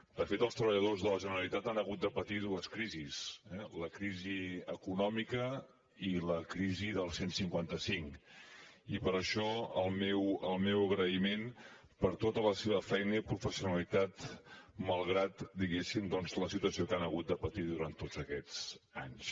de fet els treballadors de la generalitat han hagut de patir dues crisis la crisi econòmica i la crisi del cent i cinquanta cinc i per això el meu agraïment per tota la seva feina i professionalitat malgrat diguéssim la situació que han hagut de patir durant tots aquests anys